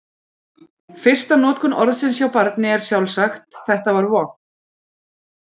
Fyrsta notkun orðsins hjá barni er sjálfsagt: Þetta var vont!